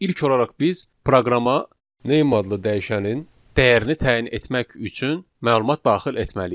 İlk olaraq biz proqrama name adlı dəyişənin dəyərini təyin etmək üçün məlumat daxil etməliyik.